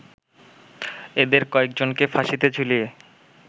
এদের কয়েকজনকে ফাঁসিতে ঝুলিয়ে